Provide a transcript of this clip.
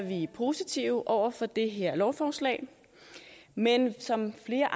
vi positive over for det her lovforslag men som flere